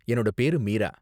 என்னோட பேரு மீரா.